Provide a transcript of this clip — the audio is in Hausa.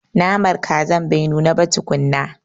Naman kazar bata nuna ba tukunna.